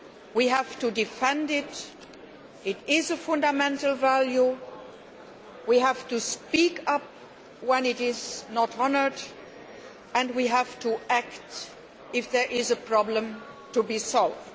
We have to defend it, it is a fundamental value, we have to speak up when it is not honoured and we have to act if there is a problem to be solved.